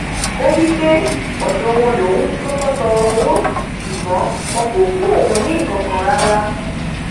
ó wí pé ọdọ wọn lòun ti kọkọ tọọrọ owó ṣùgbọn wọn kò fún òun ní nkankan rara